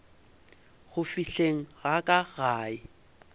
go fihleng ga ka gae